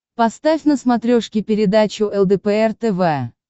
поставь на смотрешке передачу лдпр тв